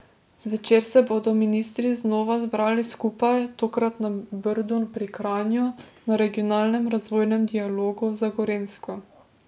Zvečer se bodo ministri znova zbrali skupaj, tokrat na Brdu pri Kranju na Regionalnem razvojnem dialogu za Gorenjsko.